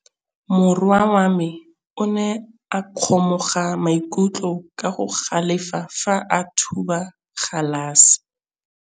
Morwa wa me o ne a kgomoga maikutlo ka go galefa fa a thuba galase.